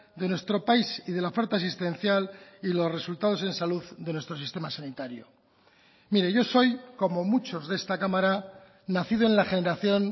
de nuestro país y de la oferta existencial y los resultados en salud de nuestro sistema sanitario mire yo soy como muchos de esta cámara nacido en la generación